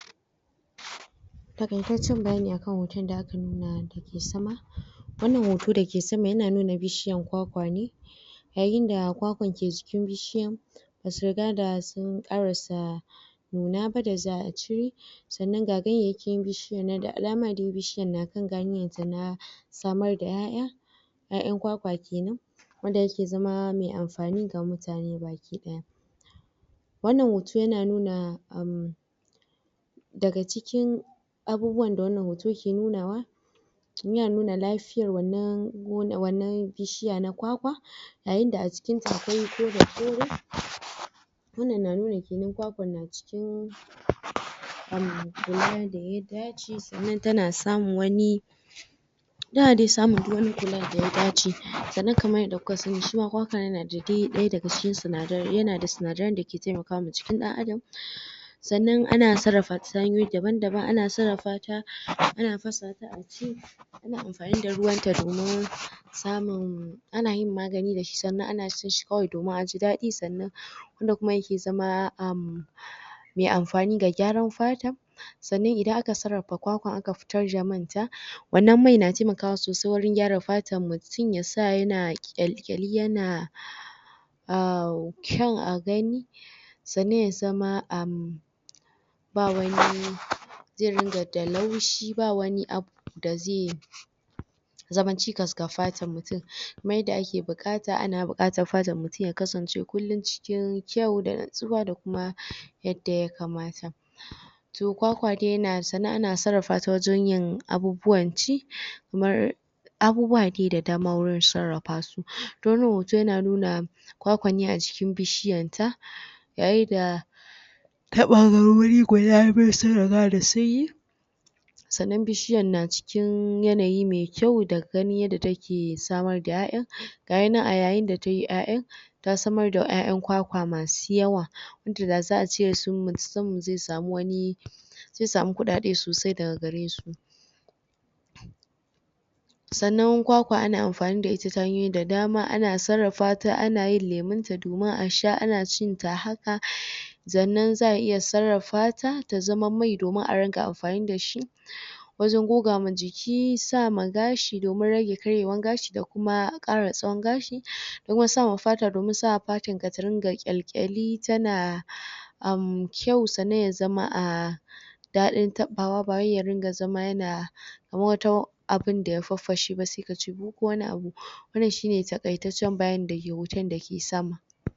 Taƙaitaccen bayani akan hoton da aka nuna da ke sama. Wannan hoto da ke sama yana nuna bishiyan kwakwa ne, yayin da kwakwan ke jikin bishiyan basu riga da sun karasa nuna ba da za'a cire, sannan ga gayayyakin bishiya nan da alama dai bishiyan na kan na samar da 'ya'ya, 'ya'yan kwakwan kenan wanda da ya ke zama me amfani ga mutane gabakidaya wannan hoto ya na nuna um daga cikin abubuwan da wannan hoton ke nunawa ya na nuna lafiyar wannan bishiya na kwakwa, yayin da a cikin ta akwai kore-kore wannan na nuna kenan kwakwan na cikin um kula da ya dace sannan ta na samu wani tana dai samun duk wani kula da ya dace sannan kamar yadda kuka sani shi ma kwakwa ya na da dai daya daga cikin sinadarai ya na da sinadaran da ke taimakama jikin dan’adam, sannan ana sarrafa ta hanyoyi daban-daban ana sarrafa ta ana fasa a ci, ana amfani da ruwan ta domin samun ana yin magani da shi, sannan a na cin shi kawai domin a ji dadi, sannan wanda kuma yake zama um mai amfani ga gyaran fata, sannan idan aka sarrafa kwakwa aka fitar da man ta wannan mai na taimakawa sosai wurin gyara fatan mutum ya sa ya na ƙyalƙyali ya na um kyau a gani sannan ya zama um ba wani zai ringa da laushi ba wani abu da zai zama cikas ga fatan mutum kamar yadda ake bukata ana bukata fatan mutum ya kasance kulum cikin kyau da natsuwa da kuma yadda yakamata. To kwakwa dai na sannan ana sarrafa ta wajan yin abubuwan ci kamar abubuwa dai da dama wurin sarrafa su, toh wannan hoton ya na nuna kwakwa ne a jikin bishiyan ta yayin da ta ɓangarori guda biyu sun riga da sunyi sannan bishiyan na cikin yanayi mai kyau da gani yadda ta ke samar da 'ya'ya ga yi nan a yayin da ta yi 'ya'ya ta samar da 'ya'yan kwakwa masu yawa wanda da za'a ce su? mu je mu samu wani zai samu kukade sosai daga gare su, sannan kwakwa ana amfani da ita ta hanyoyi da dama ana sarrafa ta ana yin lemun ta domin a sha, ana cin ta haka, sannan za'a iya sarrafa ta ta zama mai domin a ringa amfani da shi wajen goga ma jiki sa ma gashi domin rage karyewan gashi da kuma kara tsawon gashi da kuma sa ma fata domin sa fatar ka ta dinga ƙyalƙyali ta na kyau sannan ya zama a daɗin taɓawa ba wai ya ringa zama ya na kamar wata abin da ya farfashe ba sai ka ci bu ko wani abu wannan shi ne takaitaccen bayani da ke hoton da ke sama.